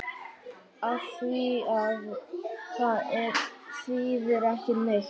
Afþvíað það þýðir ekki neitt.